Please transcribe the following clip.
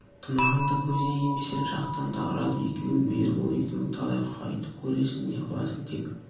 тымағыңды көзіңе кимесең жақтан да ұрады екеуің бе ербол екеуің талай құқайды көресің не қыласың тек